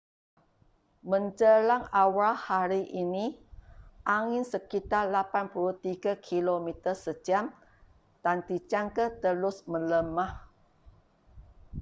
menjelang awal hari ini angin sekitar 83 km sejam dan dijangka terus melemah